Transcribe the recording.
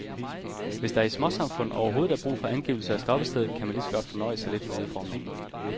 Hvis der i småsamfund overhovedet er brug for angivelser af stoppested, kan man lige så godt fornøje sig lidt med udformningen.